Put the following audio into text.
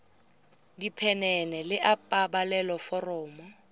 diphenene le a pabalelo foromo